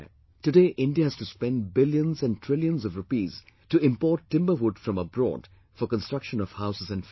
Today India has to spend billions and trillions of rupees to import timber wood from abroad for construction of houses and furniture